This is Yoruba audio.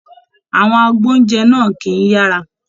Àwọn agboúnjẹ náà kìí yára.